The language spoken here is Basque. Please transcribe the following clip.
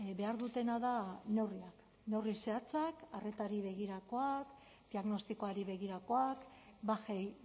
behar dutena da neurriak neurri zehatzak arretari begirakoak diagnostikoari begirakoak bajei